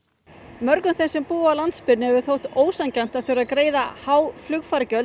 mörgum sem búa á landsbyggðinni hefur þótt ósanngjarnt að þurfa að greiða há flugfargjöld